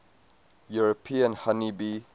european honey bee